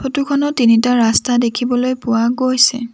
ফটোখনত তিনিটা ৰাস্তা দেখিবলৈ পোৱা গৈছে।